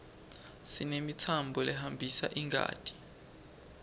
sinemitsambo lehambisa ingati